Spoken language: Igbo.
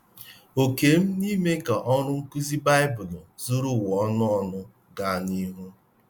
Òkè m n’ime ka ọrụ nkụzi Baịbụl zuru ụwa ọnụ ọnụ gaa n’Ihu